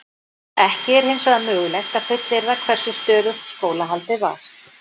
Ekki er hins vegar mögulegt að fullyrða hversu stöðugt skólahaldið var.